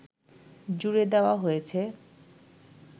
জুড়ে দেওয়া হয়েছে